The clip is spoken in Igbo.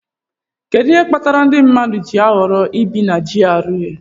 Kedu ihe kpatara ndị mmadụ ji ahọrọ ibi na GRA